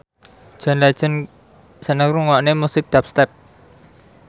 John Legend seneng ngrungokne musik dubstep